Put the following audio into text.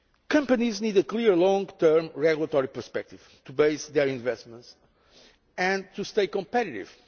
Companies need a clear long term regulatory perspective to base their investments on and stay competitive.